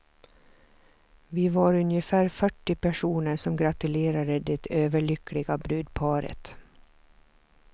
Vi var ungefär fyrtio personer som gratulerade det överlyckliga brudparet.